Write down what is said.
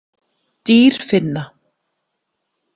Dýrfinna